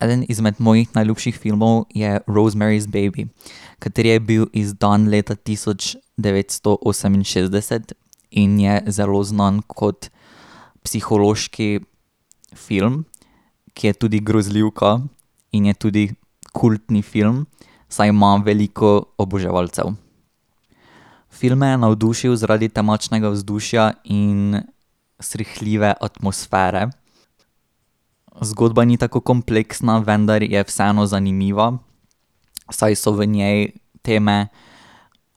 Eden izmed mojih najljubših filmov je Rosemary's Baby, kateri je bil izdan leta tisoč devetsto oseminšestdeset in je zelo znan kot psihološki film, ki je tudi grozljivka in je tudi kultni film, saj ima veliko oboževalcev. Film me je navdušil zaradi temačnega vzdušja in srhljive atmosfere. Zgodba ni tako kompleksna, vendar je vseeno zanimiva, saj so v njej teme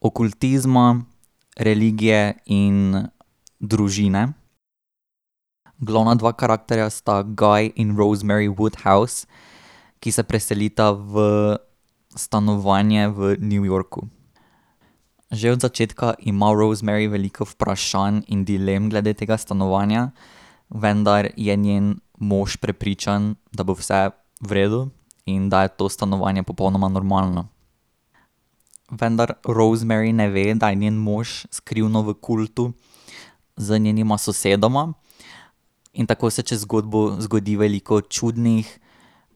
okultizma, religije in družine. Glavna dva karakterja sta Guy in Rosemary Woodhouse , ki se preselita v stanovanje v New Yorku . Že od začetka ima Rosemary veliko vprašanj in dilem glede tega stanovanja, vendar je njen mož prepričan, da bo vse v redu in da je to stanovanje popolnoma normalno. Vendar Rosemary ne ve, da je njen mož skrivno v kultu z njenima sosedoma in tako se čez zgodbo zgodi veliko čudnih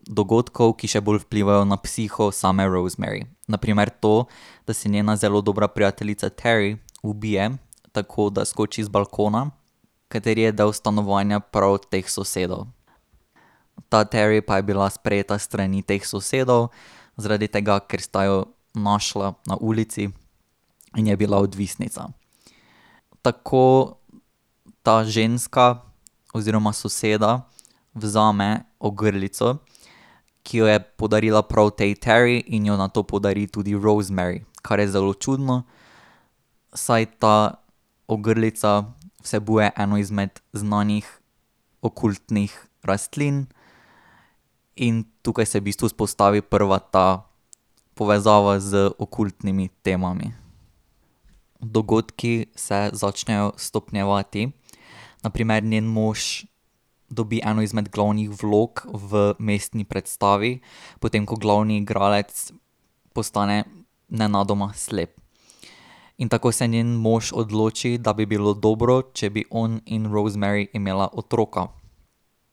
dogodkov, ki še bolj vplivajo na psiho same Rosemary , na primer to da se njena zelo dobra prijateljica Terry ubije, tako da skoči z balkona, kateri je del stanovanja prav teh sosedov. Ta Terry pa je bila sprejeta s strani teh sosedov, zaradi tega, ker sta jo našla na ulici in je bila odvisnica. Tako ta ženska oziroma soseda vzame ogrlico, ki jo je podarila prav tej Terry in jo nato podari tudi Rosemary , kar je zelo čudno, saj ta ogrlica vsebuje eno izmed znanih okultnih rastlin in tukaj se v bistvu vzpostavi prva ta povezava z okultnimi temami. Dogodki se začnejo stopnjevati, na primer njen mož dobi eno izmed glavnih vlog v mestni predstavi, potem ko glavni igralec postane nenadoma slep. In tako se njen mož odloči, da bi bilo dobro, če bi on in Rosemary imela otroka,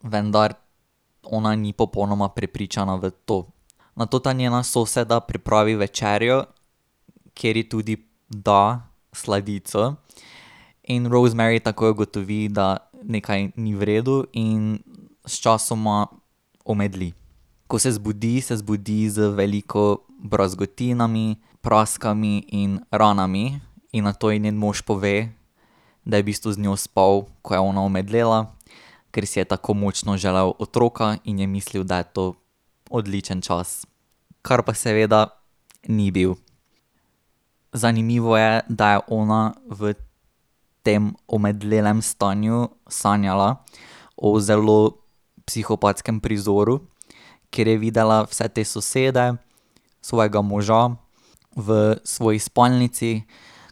vendar ona ni popolnoma prepričana v to. Nato ta njena soseda pripravi večerjo, kjer je tudi da sladico in Rosemary takoj ugotovi, da nekaj ni v redu in sčasoma omedli. Ko se zbudi, se zbudi z veliko brazgotinami, praskami in ranami in nato je njen mož pove, da je v bistvu z njo spal, ko je ona omedlela, ker si je tako močno želel otroka in je mislil, da je to odličen čas, kar pa seveda ni bil. Zanimivo je, da je ona v tem omedlelem stanju sanjala o zelo psihopatskem prizoru, kjer je videla vse te sosede, svojega moža v svoji spalnici,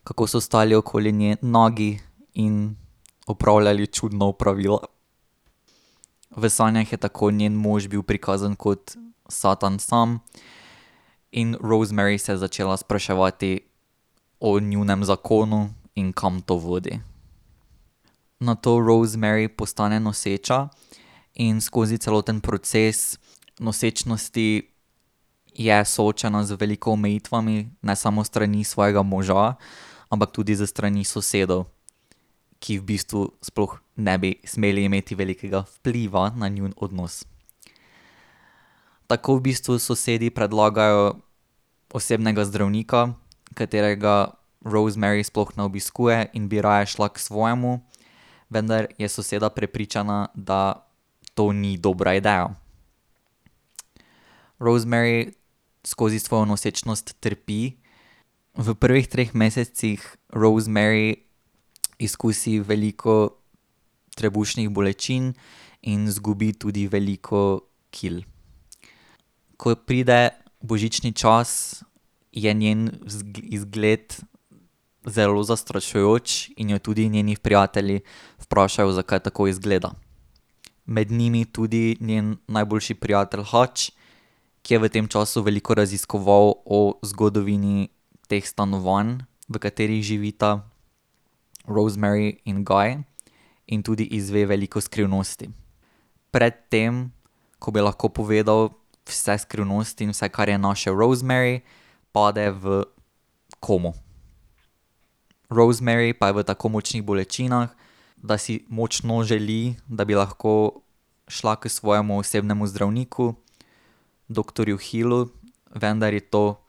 kako so stali okoli nje nagi in opravljali čudno opravilo. V sanjah je tako njen mož bil prikazan kot Satan sam in Rosemary se je začela spraševati o njunem zakonu in kam to vodi. Nato Rosemary postane noseča in skozi celoten proces nosečnosti je soočena z veliko omejitvami, ne samo s strani svojega moža, ampak tudi s strani sosedov, ki v bistvu sploh ne bi smeli imeti velikega vpliva na njun odnos. Tako v bistvu sosedi predlagajo osebnega zdravnika, katerega Rosemary sploh ne obiskuje in bi raje šla k svojemu, vendar je soseda prepričana, da to ni dobra ideja. Rosemary skozi svojo nosečnost trpi. V prvih treh mesecih Rosemary izkusi veliko trebušnih bolečin in izgubi tudi veliko kil. Ko pride božični čas, je njen izgled zelo zastrašujoč in jo tudi njeni prijatelji vprašajo, zakaj tako izgleda. Med njimi tudi njen najboljši prijatelj Hutch, ki je v tem času veliko raziskoval o zgodovini teh stanovanj, v katerih živita Rosemary in Guy. In tudi izve veliko skrivnosti. Pred tem, ko bi lahko povedal vse skrivnosti in vse, kar je našel, Rosemary , pade v komo. Rosemary pa je v tako močnih bolečinah, da si močno želi, da bi lahko šla k svojemu osebnemu zdravniku doktorju Hillu, vendar je to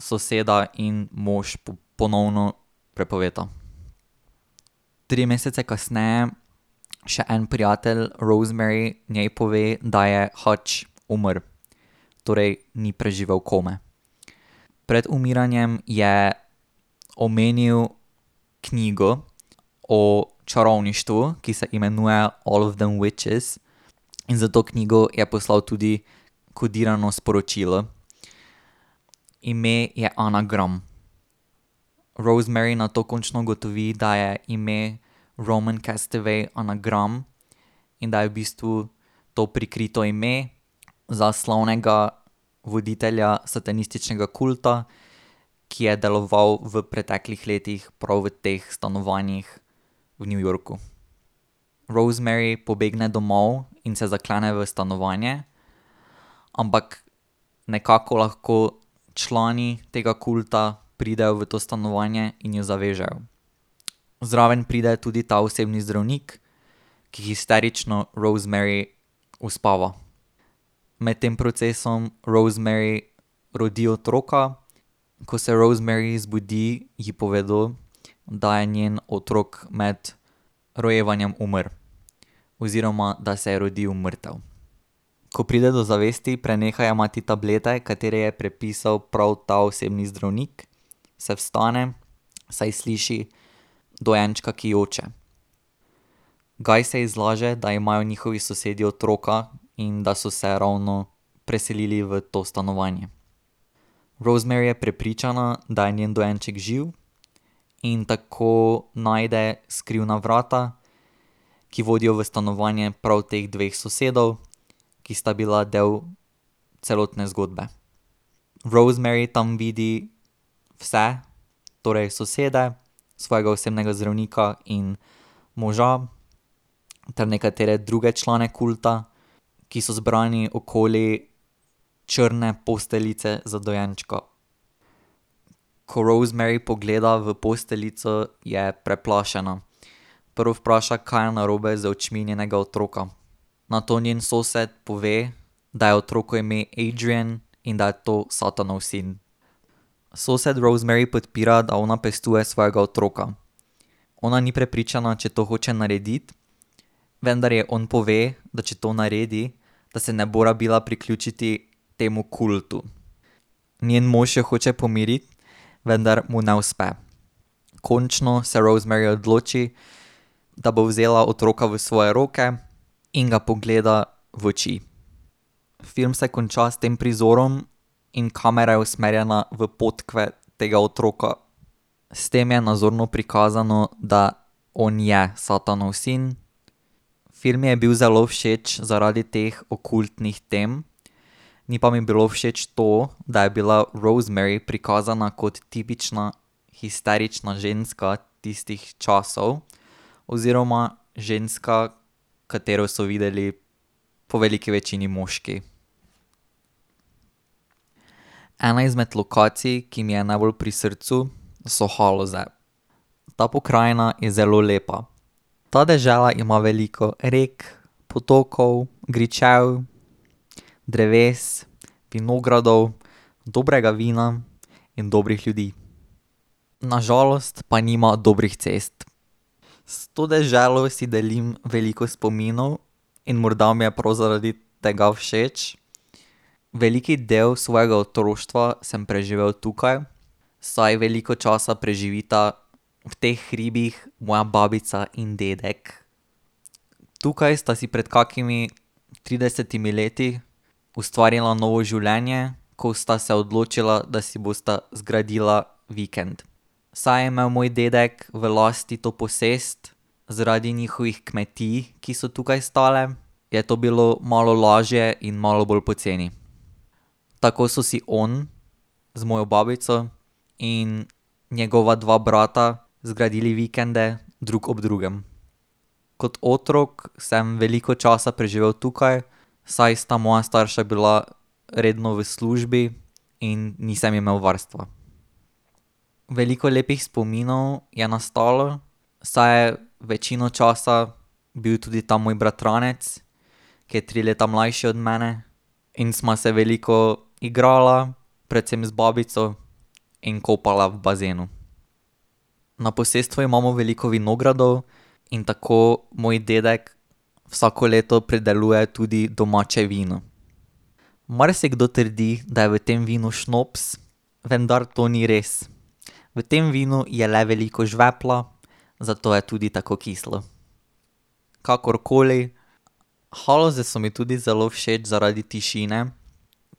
soseda in mož ponovno prepovesta. Tri mesece kasneje še en prijatelj Rosemary njej pove, da je Hutch umrl. Torej ni preživel kome. Pred umiranjem je omenil knjigo o čarovništvu, ki se imenuje All of Them Witches , in za to knjigo je poslal tudi kodirano sporočilo. Ime je anagram. Rosemary nato končno ugotovi, da je ime Roman Castevet anagram in da je v bistvu to prikrito ime za slavnega voditelja satanističnega kulta, ki je deloval v preteklih letih prav v teh stanovanjih v New Yorku. Rosemary pobegne domov in se zaklene v stanovanje, ampak nekako lahko člani tega kulta pridejo v to stanovanje in jo zavežejo. Zraven pride tudi ta osebni zdravnik, ki histerično Rosemary uspava. Med tem procesom Rosemary rodi otroka, ko se Rosemary zbudi, ji povedo, da je njen otrok med rojevanjem umrl. Oziroma, da se je rodil mrtev. Ko pride do zavesti, preneha jemati tablete, katere je predpisal prav ta osebni zdravnik, se vstane, saj sliši dojenčka, ki joče. Guy se ji zlaže, da imajo njihovi sosedi otroka in da so se ravno preselili v to stanovanje. Rosemary je prepričana, da je njen dojenček živ, in tako najde skrivna vrata, ki vodijo v stanovanje prav teh dveh sosedov, ki sta bila del celotne zgodbe. Rosemary tam vidi vse, torej sosede, svojega osebnega zdravnika in moža ter nekatere druge člane kulta, ki so zbrani okoli črne posteljice z dojenčko. Ko Rosemary pogleda v posteljico, je preplašena. Prvo vpraša, kaj je narobe z očmi njenega otroka, nato njen sosed pove, da je otroku ime Adrian in da je to Satanov sin. Sosed Rosemary podpira, da ona pestuje svojega otroka. Ona ni prepričana, če to hoče narediti, vendar ji on pove, da če to naredi, da se ne bo rabila priključiti temu kultu. Njen mož jo hoče pomiriti, vendar mu ne uspe. Končno se Rosemary odloči, da bo vzela otroka v svoje roke in ga pogleda v oči. Film se konča s tem prizorom in kamera je usmerjena v podkve tega otroka. S tem je nazorno prikazano, da on je Satanov sin. Film mi je bil zelo všeč zaradi teh okultnih tem. Ni pa mi bilo všeč to, da je bila Rosemary prikazana kot tipična histerična ženska tistih časov oziroma ženska, katero so videli po veliki večini moški. Ena izmed lokacij, ki mi je najbolj pri srcu, so Haloze. Ta pokrajina je zelo lepa. Ta dežela ima veliko rekel, potokov, gričev, dreves, vinogradov, dobrega vina in dobrih ljudi. Na žalost pa nima dobrih cest. S to deželo si delim veliko spominov in morda mi je prav zaradi tega všeč. Velik del svojega otroštva sem preživel tukaj, saj veliko časa preživita v teh hribih moja babica in dedek. Tukaj sta si pred kakšnimi tridesetimi leti ustvarila novo življenje, ko sta se odločila, da si bosta zgradila vikend. Saj je imel moj dedek v lasti to posest, zaradi njihovih kmetij, ki so tukaj stale. Je to bilo malo lažje in malo bolj poceni. Tako so si on z mojo babico in njegova dva brata zgradili vikende drug ob drugem. Kot otrok sem veliko časa preživel tukaj, saj sta moja starša bila redno v službi in nisem imel varstva. Veliko lepih spominov je nastalo, saj je večino časa bil tudi ta moj bratranec, ki je tri leta mlajši od mene in sva se veliko igrala, predvsem z babico in kopala v bazenu. Na posestvu imamo veliko vinogradov in tako moj dedek vsako leto prideluje tudi domače vino. Marsikdo trdi, da je v tem vinu šnops, vendar to ni res. V tem vinu je le veliko žvepla, zato je tudi tako kislo. Kakorkoli, Haloze so mi tudi zelo všeč zaradi tišine,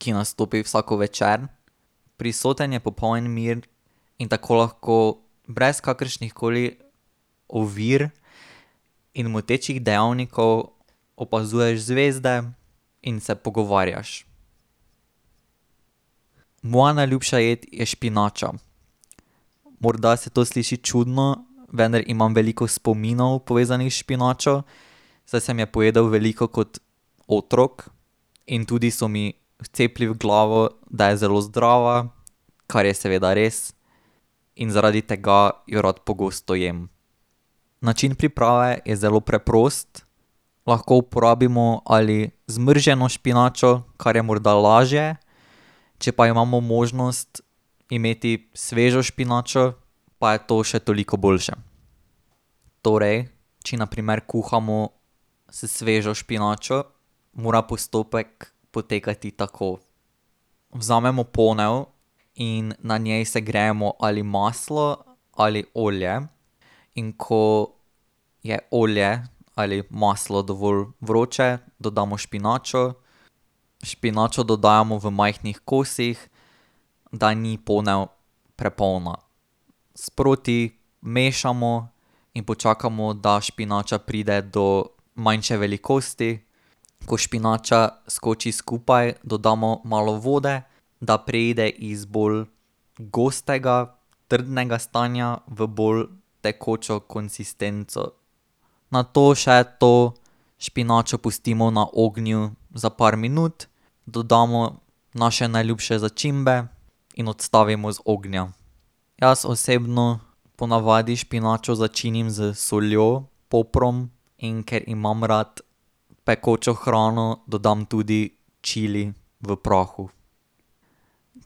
ki nastopi vsak večer. Prisoten je popoln mir in tako lahko brez kakršnih koli ovir in motečih dejavnikov opazuješ zvezde in se pogovarjaš. Moja najljubša pojdi je špinača. Morda se to sliši čudno, vendar imam veliko spominov, povezanih s špinačo, saj sem je pojedel veliko kot otrok. In tudi so mi vcepili v glavo, da je zelo zdrava, kar je seveda res, in zaradi tega jo rad pogosto jem. Način priprave je zelo preprost. Lahko uporabimo ali zmrznjeno špinačo, kar je morda lažje, če pa jo imamo možnost imeti svežo špinačo, pa je to še toliko boljše. Torej, če na primer kuhamo s svežo špinačo, mora postopek potekati tako, vzamemo ponev in na njen segrejemo ali maslo ali olje, in ko je olje ali maslo dovolj vroče, dodamo špinačo. Špinačo dodajamo v majhnih kosih, da ni ponev prepolna. Sproti mešamo in počakamo, da špinača pride do manjše velikosti. Ko špinača skoči skupaj, dodamo malo vode, da preide iz bolj gostega, trdnega stanja v bolj tekočo konsistenco. Nato še to špinačo pustimo na ognju za par minut. Dodamo naše najljubše začimbe in odstavimo z ognja. Jaz osebno ponavadi špinačo začinim s soljo, poprom, in ker imam rad pekočo hrano, dodam tudi čili v prahu.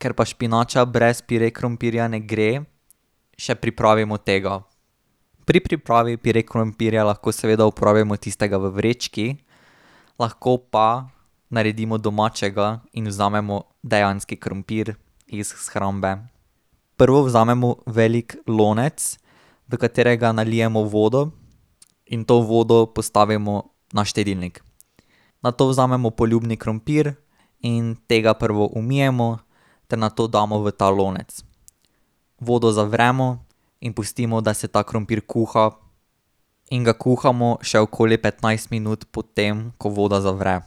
Ker pa špinača brez pire krompirja ne gre, še pripravimo tega. Pri pripravi pire krompirja lahko seveda uporabimo tistega v vrečki, lahko pa naredimo domačega in vzamemo dejanski krompir iz shrambe. Prvo vzamemo velik lonec, v katerega nalijemo vodo in to vodo postavimo na štedilnik. Nato vzamemo poljuben krompir in tega prvo umijemo ter nato damo v ta lonec. Vodo zavremo in pustimo, da se ta krompir kuha in ga kuhamo še okoli petnajst minut, ko voda zavre.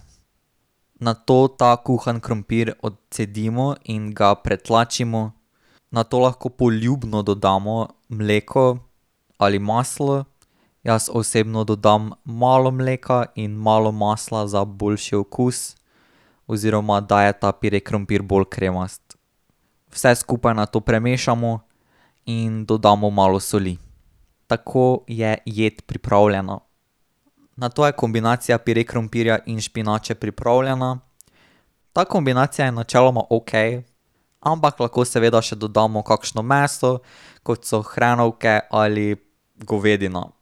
Nato ta kuhan krompir odcedimo in ga pretlačimo, nato lahko poljubno dodamo mleko ali maslo. Jaz osebno dodam malo mleka in malo masla za boljši okus oziroma, da je ta pire krompir bolj kremast. Vse skupaj nato premešamo in dodamo malo soli. Tako je jed pripravljena. Nato je kombinacija pire krompirja in špinače pripravljena. Ta kombinacija je načeloma okej, ampak lahko seveda še dodamo kakšno meso, kot so hrenovke ali govedina.